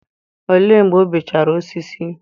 olee mgbe o beechara osisi?